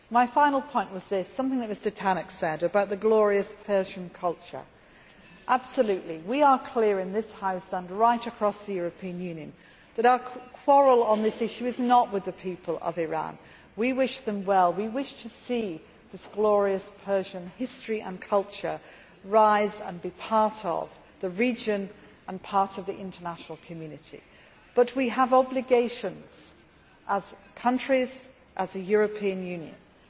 My final point concerns something that Mr Tannock said about the glorious Persian culture. Absolutely. We are clear in this House, and right across the European Union, that our quarrel on this issue is not with the people of Iran. We wish them well. We wish to see this glorious Persian history and culture rise and be part of the region and part of the international community, but we have obligations as countries and as the European Union.